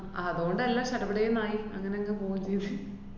അതുകൊണ്ടെല്ലാം സടപടേന്നായി അങ്ങനങ്ങ് പോകേം ചെയ്ത്